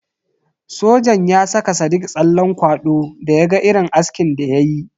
Sojan ya saka sadiq tsallen kwado da ya ga irin askin da ya yi.